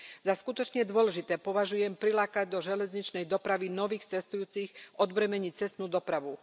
Za skutočne dôležité považujem prilákať do železničnej dopravy nových cestujúcich a odbremeniť cestnú dopravu.